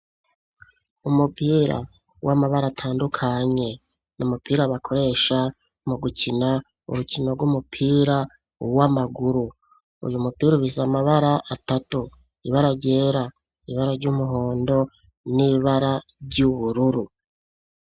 Umupira w'amabara atandukanye ni umupira bakoresha mu gukina urukino rw'umupira uwo amaguru uyu mupira ubisa amabara atatu ibara ryera ibara ry'umuhondo n'ibara ry'ubururu.